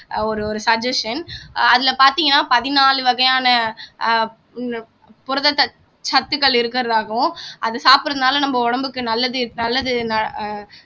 ஒரு ஒரு suggestion அதுல பார்த்தீங்கன்னா பதினாலு வகையான புரத சத்து சத்துக்கள் இருக்கிறதாகவும் அது சாப்பிடுறதுனால நம்ம உடம்புக்கு நல்லது நல்லது